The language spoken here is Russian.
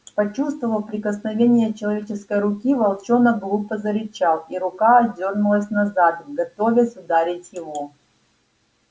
почувствовав прикосновение человеческой руки волчонок глухо зарычал и рука отдёрнулась назад готовясь ударить его